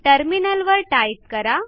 टर्मिनलवर टाईप करा